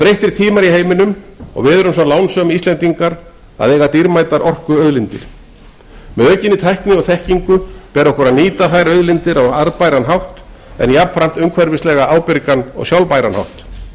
breyttir tímar í heiminum og við erum svo lánsöm að eiga dýrmætar orkuauðlindir með aukinni tækni og þekkingu ber okkur að nýta þær auðlindir á arðbæran hátt en jafnframt umhverfislega ábyrgan og sjálfbæran hátt